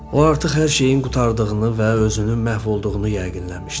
O artıq hər şeyin qurtardığını və özünün məhv olduğunu yəqinləmişdi.